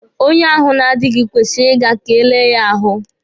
Onye ahụ na-adịghi kwesịrị ị ga ka e lee ya ahụ.